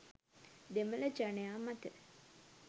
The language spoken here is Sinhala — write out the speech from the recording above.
දෙමළ ජනයා මත